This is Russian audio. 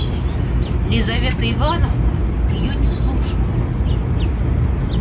лизавета ивановна её не слушала